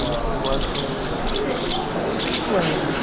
Ele foi embora quando você tinha cinco anos? Cinco anos.